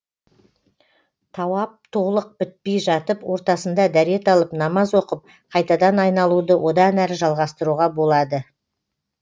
тауап толық бітпей жатып ортасында дәрет алып намаз оқып қайтадан айналуды одан әрі жалғастыруға болады